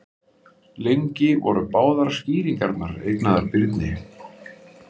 Lengi voru báðar skýringarnar eignaðar Birni.